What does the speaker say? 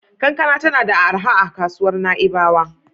Kankana tana arha a kasuwar Na'ibawa.